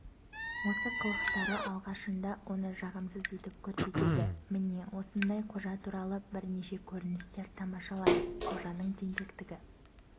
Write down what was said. осы қылықтары алғашында оны жағымсыз етіп көрсетеді міне осындай қожа туралы бірнеше көріністер тамашалайық қожаның тентектігі